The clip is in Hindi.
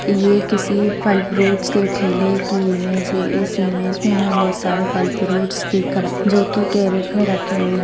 ये किसी फल फ्रूट् के ठेले की इमेज है इस इमेज में हमें बहुत सारे फल फ्रूट्स दिख रहें हैं जो की कैरेट में रखे हुए हैं।